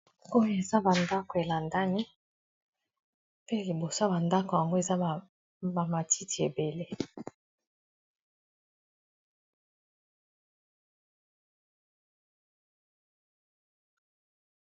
Oyo eza ba ndako elandani pe libosa ba ndako yango eza ba matiti ebele.